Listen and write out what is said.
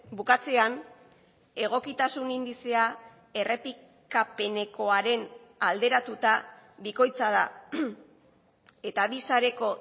bukatzean egokitasun indizea errepikapenekoaren alderatuta bikoitza da eta bi sareko